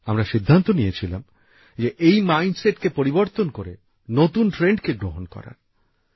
আমরা সিদ্ধান্ত নিয়েছিলাম এই মানসিকতাকে পরিবর্তন করে নতুন প্রকল্পকে গ্রহণ করার